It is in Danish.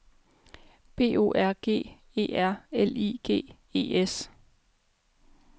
B O R G E R L I G E S